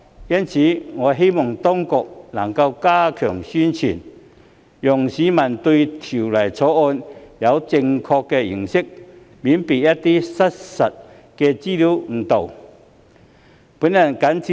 因此，我希望當局能加強宣傳，讓市民對《條例草案》有正確的認識，以免被一些失實報道誤導。